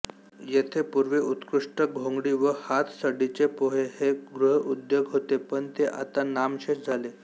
येथे पूर्वी उत्कृष्ट घोंगडी व हातसडीचे पोहे हे गृहउद्योग होते पण ते आता नामशेष झाले